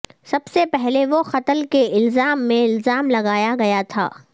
سب سے پہلے وہ قتل کے الزام میں الزام لگایا گیا تھا